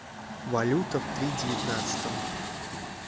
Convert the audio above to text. валюта в три девятнадцатом